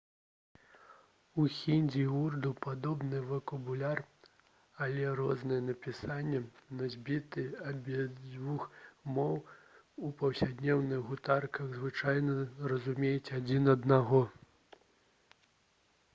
у хіндзі і ўрду падобны вакабуляр але рознае напісанне носьбіты абедзвюх моў у паўсядзённых гутарках звычайна разумеюць адзін аднаго